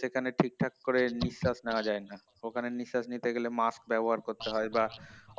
সেখানে ঠিকঠাক করে নিঃশ্বাস নিয়ে যায় না ওখানে নিঃশ্বাস নিতে গেলে musk ব্যবহার করতে হয় বা